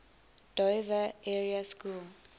dover area school